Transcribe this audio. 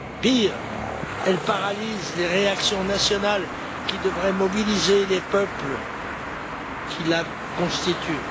Pire, elle paralyse les réactions nationales qui devraient mobiliser les peuples qui la constituent.